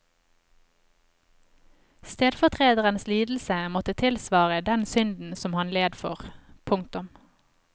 Stedfortrederens lidelse måtte tilsvare den synden som han led for. punktum